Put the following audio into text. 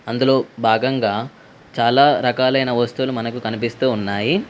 అందులో భాగంగా చాలా రకాలైన వస్తువులు మనకు కనిపిస్తూ ఉన్నాయి.